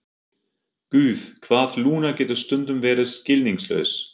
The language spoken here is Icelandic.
Guð, hvað Lúna getur stundum verið skilningslaus.